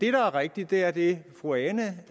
er rigtigt er det fru ane